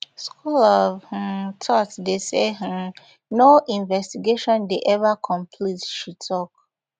school of um thought dey say um no investigation dey eva complete she tok